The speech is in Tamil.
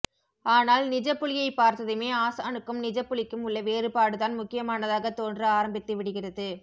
ஆனால் நிஜப்புலியைப்பார்த்ததுமே ஆசானுக்கும் நிஜப்புலிக்கும் உள்ள வேறுபாடுதான் முக்கியமானதாக தோன்ற ஆரம்பித்துவிடுகிறது